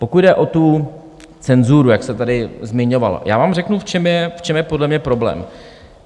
Pokud jde o tu cenzuru, jak se tady zmiňovalo, já vám řeknu, v čem je podle mě problém.